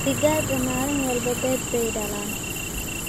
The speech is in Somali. Digaagga maalin walba beed bay dhalaan.